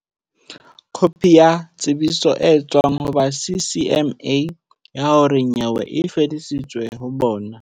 Kopi ya tsebiso e tswang ho ba CCMA ya hore nyewe e fetiseditswe ho bona.